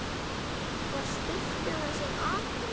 Var spurt um þessi atriði.